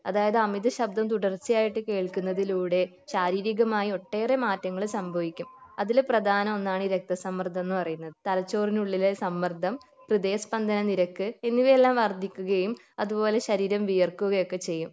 അതായത് അമിത ശബ്ദം തുടർച്ചയായിട്ട് കേൾകുന്നതിലൂടെ ശാരീരികമായി ഒട്ടേറെ മാറ്റങ്ങൾ സംഭവിക്കും അതിൽ പ്രധാനം ഒന്നാണ് ഈ രക്തസമ്മർദ്ദം എന്ന് പറയുന്നത് തലച്ചോറിനുള്ളിലെ സമ്മർദ്ദം ഹൃദയസ്പന്ദന നിരക്ക് എന്നിവയെല്ലാം വർധിക്കുകയും അതുപോലെ ശരീരം വിയർക്കുകയൊക്കെ ചെയ്യും